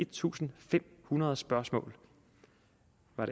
tusind fem hundrede spørgsmål